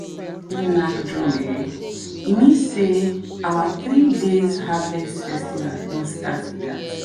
knack drum e mean sey our three days harvest festival don start be that.